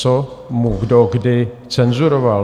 Co mu kdo kdy cenzuroval?